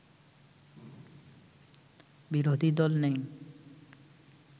বিরোধী দল নেই